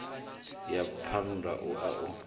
ya phanda u a u